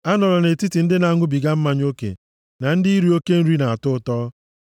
Anọla nʼetiti ndị na-aṅụbiga mmanya oke, na ndị iri oke oriri na-atọ ụtọ,